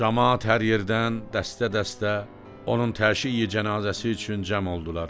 Camaat hər yerdən dəstə-dəstə onun təşyi-cənazəsi üçün cəm oldular.